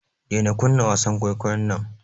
Daina kunna wasan kwaikwayon nan.